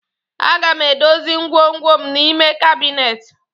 Aga m edozi ngwongwo m n'ime kabinet